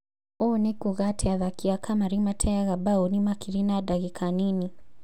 ũũ nĩ kuga athaki a kamarĩ mateaga mbaũni makiri na ndagĩka nini.